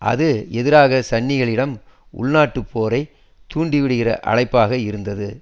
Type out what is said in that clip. அது எதிராக சன்னிகளிடம் உள்நாட்டுப் போரை தூண்டி விடுகின்ற அழைப்பாக இருந்தது